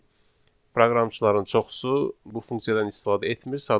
proqramçıların çoxusu bu funksiyadan istifadə etmir,